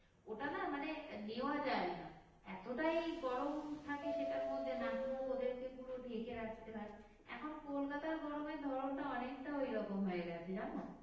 ওটা না মানে নেওয়া যায় না এতটাই গরম থাকে সেটার মধ্যে নাক মুক ওদেরকে পুরো ঢেকে রাখতে হয় এখন কলকাতার গরমের ধরণটা অনেকটা ওইরকম হয়ে গেছে জানো